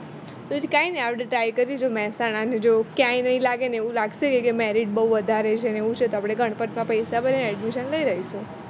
તો વધારે સારું તો કઈ નઈ આપણે try કરીએ જો મેહસાણા જો ક્યાંય નઈ લાગે ને એવું લાગશે એ કી કે marriage બહુ વધારે છે ને એવું છે તો અપને ગણપટમાં પૈસા ભર્યા ને admission લઇ લેશુ